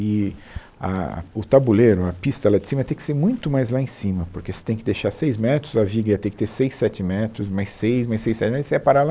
E a o tabuleiro, a pista lá de cima, ia ter que ser muito mais lá em cima, porque você tem que deixar seis metros, a viga ia ter que ter seis, sete metros, mais seis, mais seis, sete metros, você ia parar lá.